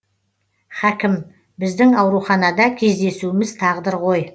хәкім біздің ауруханада кездесуіміз тағдыр ғой